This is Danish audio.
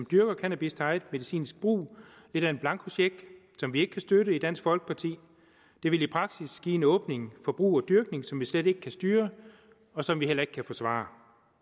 dyrker cannabis til eget medicinsk brug lidt af en blankocheck som vi ikke kan støtte i dansk folkeparti det ville i praksis give en åbning for brug og dyrkning som vi slet ikke kan styre og som vi heller ikke kan forsvare